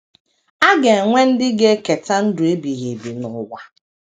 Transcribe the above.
A ga - enwe ndị ga - eketa ndụ ebighị ebi n’ụwa.